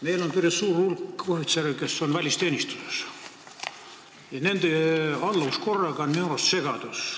Meil on päris suur hulk ohvitsere, kes on välisteenistuses, ja nende alluvuskorraga on minu arust segadus.